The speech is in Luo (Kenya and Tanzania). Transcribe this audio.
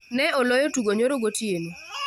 Ne oloyo tugo nyoro gotieno